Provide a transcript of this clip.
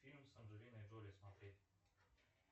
фильм с анджелиной джоли смотреть